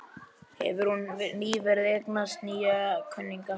Hefur hún nýverið eignast nýja kunningja?